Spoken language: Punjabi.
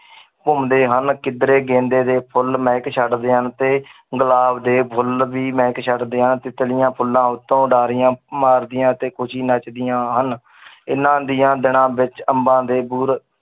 ਘੁੰਮਦੇ ਹਨ ਕਿੱਧਰੇ ਗੇਂਦੇ ਦੇ ਫੁੱਲ ਮਹਿਕ ਛੱਡਦੇ ਹਨ ਤੇ ਗੁਲਾਬ ਦੇ ਫੁੱਲ ਵੀ ਮਹਿਕ ਛੱਡਦੇ ਹਨ ਤਿਤਲੀਆਂ ਫੁੱਲਾਂ ਉੱਤੋਂ ਉਡਾਰੀਆਂ ਮਾਰਦੀਆਂ ਤੇ ਖ਼ੁਸ਼ੀ ਨੱਚਦੀਆਂ ਹਨ ਇਹਨਾਂ ਦੀਆਂ ਦਿਨਾਂ ਵਿੱਚ ਅੰਬਾਂ ਦੇ ਬੂਰ